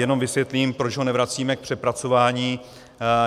Jenom vysvětlím, proč ho nevracíme k přepracování.